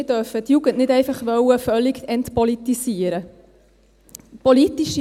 Wir dürfen die Jugend nicht einfach völlig entpolitisieren wollen.